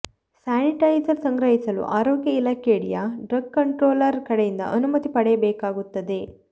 sanitiser ಸಂಗ್ರಹಿಸಲು ಆರೋಗ್ಯ ಇಲಾಖೆಯಡಿಯ ಡ್ರಗ್ ಕಂಟ್ರೋಲರ್ ಕಡೆಯಿಂದ ಅನುಮತಿ ಪಡೆಯಬೇಕಾಗುತ್ತದೆ